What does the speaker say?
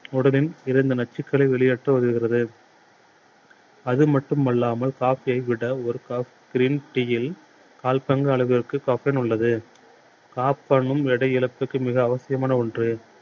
உடலில் இருந்து நச்சுக்களை வெளியேற்ற உதவுகிறது. அது மட்டும் அல்லாமல் black கை விட ஒரு cup green tea யில் கால் பங்கு அளவிற்கு caffeine உள்ளது. caffeine எடை இழப்பிற்கு மிக அவசியமான ஒன்று.